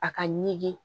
A ka ɲigin